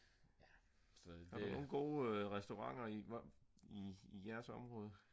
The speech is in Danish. har du nogle gode restauranter i jeres område?